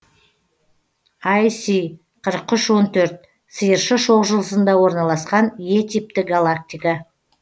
іс қырық үш он төрт сиыршы шоқжұлдызында орналасқан е типті галактика